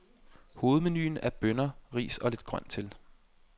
Hovedmenuen er bønner, ris og lidt grønt til.